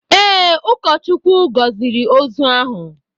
Ee, ụkọchukwu gọziri ozu ahụ.